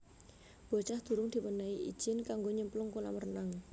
Bocah durung diwenehi ijin kanggo nyemplung kolam renang